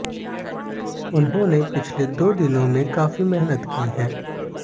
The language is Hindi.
उन्होंने पिछले दो दिनों में काफी मेहनत की है